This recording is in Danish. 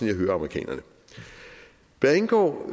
jeg hører amerikanerne hvad angår